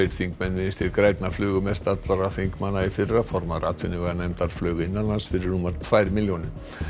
þingmenn Vinstri grænna flugu mest allra þingmanna í fyrra formaður atvinnuveganefndar flaug innanlands fyrir rúmar tvær milljónir